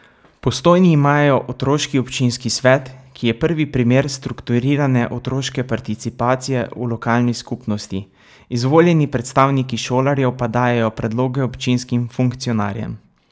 V Postojni imajo otroški občinski svet, ki je prvi primer strukturirane otroške participacije v lokalni skupnosti, izvoljeni predstavniki šolarjev pa dajejo predloge občinskim funkcionarjem.